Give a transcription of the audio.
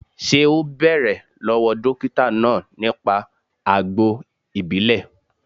Ṣé o bẹ̀rẹ̀ lọ́wọ́ dókítà náà nípa àgbo ìbílè